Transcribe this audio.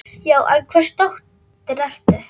Já, en hvers dóttir ertu?